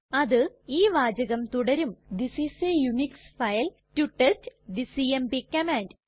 അത് ഈ വാചകം തുടരും this is a Unix file to test the CMP command